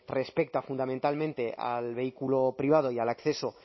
respecta fundamentalmente al vehículo privado y al acceso